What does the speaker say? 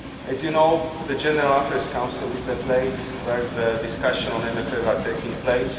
As you know, the General Affairs Council is the place where the discussions on the MFF are taking place.